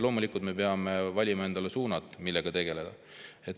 Loomulikult me peame valima endale suunad, millega tegeleda.